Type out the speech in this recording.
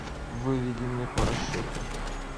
выведи мне по расчету